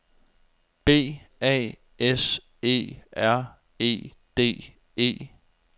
B A S E R E D E